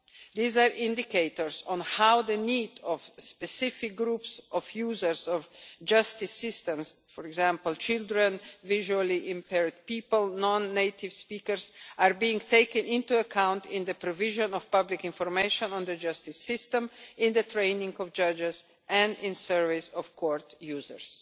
These are indicators on how the needs of specific groups of users of justice systems for example, children, visually impaired people, non-native speakers are being taken into account in the provision of public information on the justice system, in the training of judges and in surveys of court users.